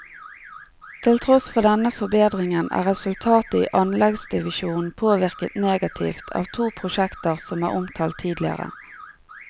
Til tross for denne forbedringen er resultatet i anleggsdivisjonen påvirket negativt av to prosjekter som er omtalt tidligere.